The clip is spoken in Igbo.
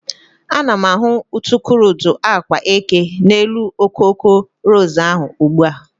Ana m ahụ udukurudu agwa eke n'elu okoko ros ahụ ugbua.